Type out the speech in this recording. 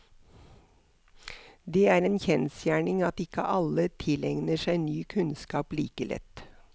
Det er en kjensgjerning at ikke alle tilegner seg ny kunnskap like lett.